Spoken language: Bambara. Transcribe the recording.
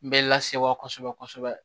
N bɛ lasewa kosɛbɛ kosɛbɛ